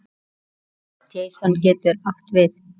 Jason getur átt við